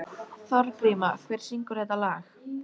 Þorgríma, hver syngur þetta lag?